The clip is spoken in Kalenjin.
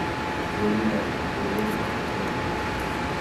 chorikab bolutik choto